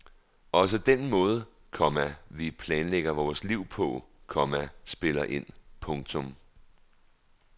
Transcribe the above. Også den måde, komma vi planlægger vores liv på, komma spiller ind. punktum